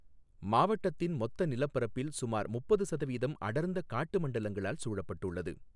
மாவட்டத்தின் மொத்த நிலப்பரப்பில் சுமார் முப்பது சதவீதம் அடர்ந்த காட்டு மண்டலங்களால் சூழப்பட்டுள்ளது.